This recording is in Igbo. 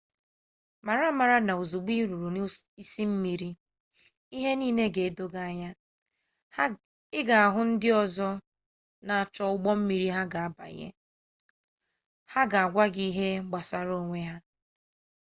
mara amara n'ozugbo iruru n'isi mmiri ihe niile ga-edo gi anya i ga ahu ndi ozo n'acho ugbo mmiri ha ga banye ha ga-agwa gi ihe gbasara onwe ha